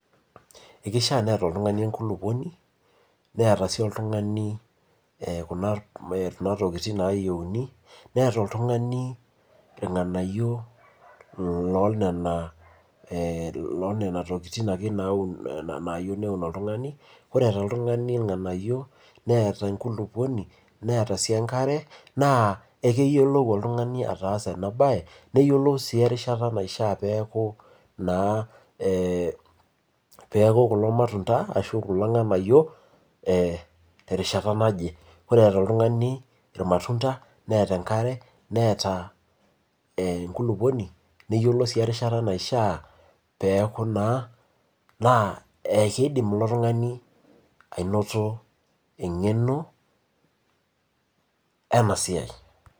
Ekisha